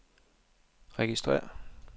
registrér